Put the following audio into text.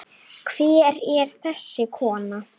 Hver er þessi kona?